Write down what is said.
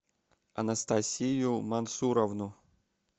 анастасию мансуровну